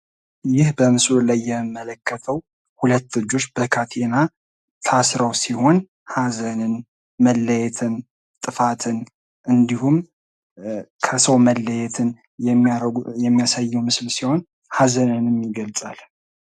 ይህ በምስሉ ላይ የምመለከተው ሁለት እጆች በካቴና ታስረው ሲሆን ሀዘንን መለየትን ጥፋትን እንድሁም ከሰው መለየትን የሚያሳየው ምስል ሲሆን ሀዘንን ይገልጻል።